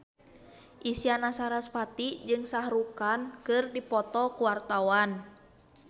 Isyana Sarasvati jeung Shah Rukh Khan keur dipoto ku wartawan